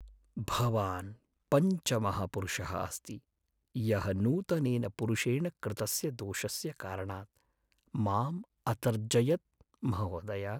भवान् पञ्चमः पुरुषः अस्ति यः नूतनेन पुरुषेण कृतस्य दोषस्य कारणात् माम् अतर्जयत्, महोदय।